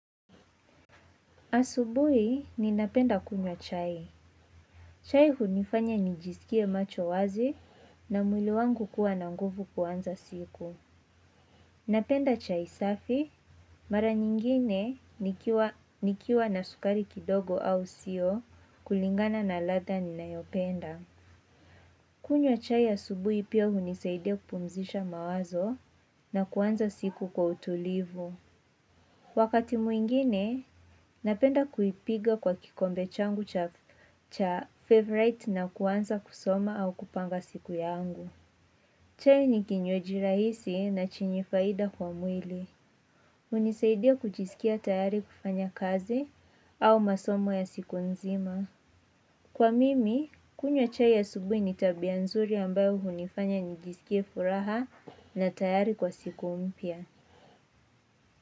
Asubuhi ninapenda kunywa chai. Chai hunifanya nijisikie macho wazi na mwili wangu kuwa nanguvu kuanza siku. Napenda chai safi, mara nyingine nikiwa na sukari kidogo au sio kulingana na latha ni nayopenda. Kunywa chai asubuhi pia hunisaida kupumzisha mawazo na kuanza siku kwa utulivu. Wakati mwingine, napenda kuipiga kwa kikombe changu cha favorite na kuanza kusoma au kupanga siku ya angu. Chai ni kinywaji rahisi na chenye faida kwa mwili. Hunisaidia kujisikia tayari kufanya kazi au masomo ya siku nzima. Kwa mimi, kunywa chai ya asubuhi ni tabia nzuri ambayo hunifanya nijisikie furaha na tayari kwa siku umpia.